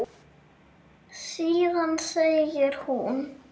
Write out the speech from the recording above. Síðan segir hún